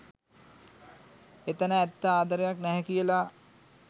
එතැන ඇත්ත ආදරයක් නැහැ කියලා.